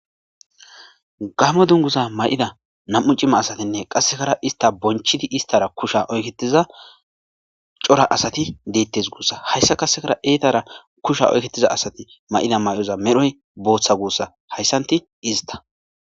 Gamo duguza mayida nam'u c'ima asatinne qasekara ista bonchidi kusha oyketiza c'ora asati deetes gussa. Hayti qaseka etara kusha oyketiza asati mayida Mayo medhoy bootha guusa haytanti ista.